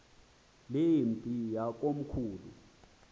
le mpi yakomkhulu